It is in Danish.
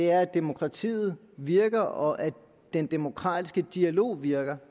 er at demokratiet virker og at den demokratiske dialog virker